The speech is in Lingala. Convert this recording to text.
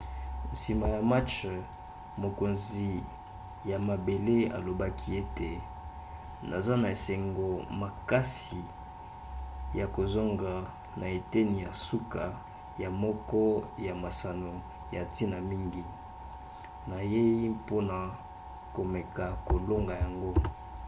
nsima ya match mokonzi ya mabele alobaki ete naza na esengo makasi ya kozonga na eteni ya suka ya moko ya masano ya ntina mingi. nayei mpona komeka kolonga yango.